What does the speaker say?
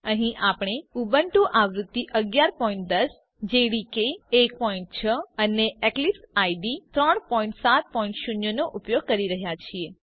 અહીં આપણે ઉબુન્ટુઆવૃત્તિ 1110 જાવા ડેવલપમેન્ટ એન્વાયર્નમેન્ટ જેડીકે 16 અને એક્લીપ્સ આઇડીઇ 370 નો ઉપયોગ કરી રહ્યા છીએ